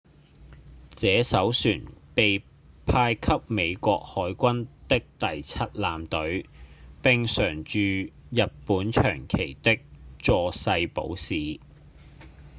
這艘船被派給美國海軍的第七艦隊並常駐日本長崎的佐世保市